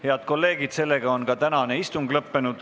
Head kolleegid, sellega on ka tänane istung lõppenud.